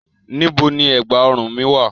Níbo ni ẹ̀gbá-ọrùn mi wà?